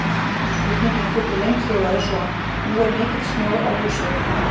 Spurningin í fullri lengd hljóðaði svona: Nú er mikill snjór á húsþökum.